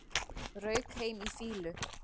Rauk heim í fýlu